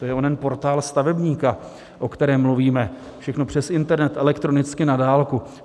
To je onen Portál stavebníka, o kterém mluvíme, všechno přes internet, elektronicky, na dálku.